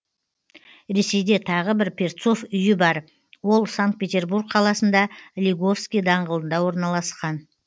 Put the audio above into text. ресейде тағы бір перцов үйі бар ол санкт петербург қаласында лиговский даңғылында орналасқан